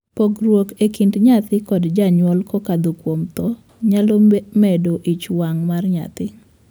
Pogruok e kind nyathi kod janyuol kokadho kuom thoo nyalo medo ich wang' mar nyathi.